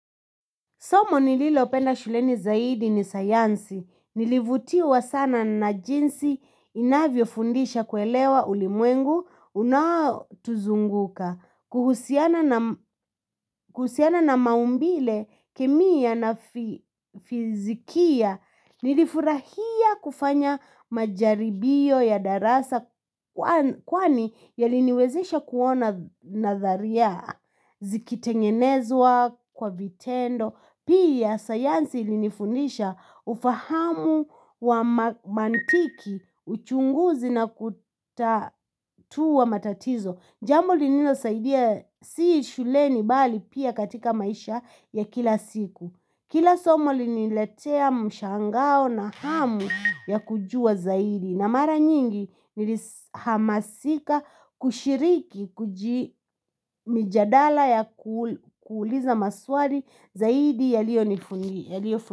Somo nililopenda shuleni zaidi ni sayansi, nilivutiwa sana na jinsi inavyo fundisha kuelewa ulimwengu, unaotuzunguka, kuhusiana na maumbile, kemia na fizikia, nilifurahia kufanya majaribio ya darasa kwani yali niwezesha kuona natharia, zikitengenezwa kwa vitendo, Pia sayansi ilinifundisha ufahamu wa mantiki uchunguzi na kutatua matatizo Jambo linino saidia si shuleni bali pia katika maisha ya kila siku Kila somo liliniletea mshangao na hamu ya kujua zaidi na mara nyingi nili hamasika kushiriki kujimijadala ya kuuliza maswari zaidi ya liyo nifundi.